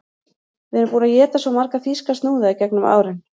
Við erum búin að éta svo marga þýska snúða í gegnum árin